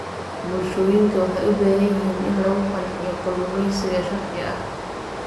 Bulshooyinka waxay u baahan yihiin in lagu qanciyo kalluumaysiga sharci ah.